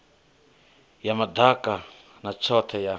ya madaka ya tshothe ya